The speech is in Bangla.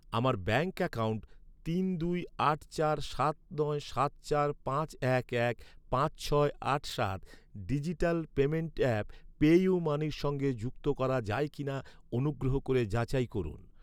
আমার ব্যাঙ্ক অ্যাকাউন্ট তিন দুই আট চার সাত নয় সাত চার পাঁচ এক এক পাঁচ ছয় আট সাত ডিজিটাল পেমেন্ট অ্যাপ পেইউমানির সঙ্গে যুক্ত করা যায় কি না অনুগ্রহ করে যাচাই করুন।